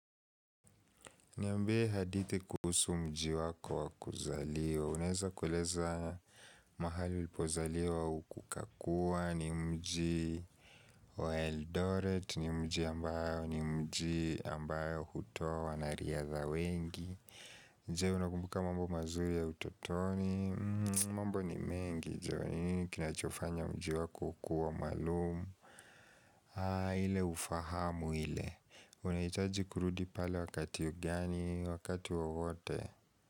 Niambie hadithi kuusu mji wako wa kuzaliwa Uneza kueleza mahali ulipozaliwa wa ukuka kuwa ni mji wa Eldoret ni mji ambao hutoa wanariadha wengi je unakumbuka mambo mazuri ya utotoni mambo ni mengi Njooni kinachofanya mji wako kuwa maalumu Haa ile ufahamu ile unahitaji kurudi pale wakati gani wakati wowote.